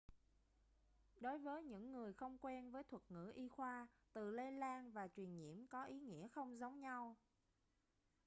đối với những người không quen với thuật ngữ y khoa từ lây lan và truyền nhiễm có ý nghĩa không giống nhau